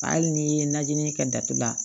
Hali ni ye najini kɛ datugula